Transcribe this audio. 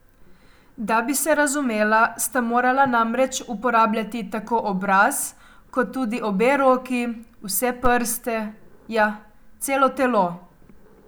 Da bi se razumela, sta morala namreč uporabljati tako obraz kot tudi obe roki, vse prste, ja, celo telo.